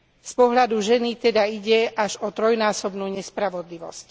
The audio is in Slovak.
Z pohľadu ženy teda ide až o trojnásobnú nespravodlivosť.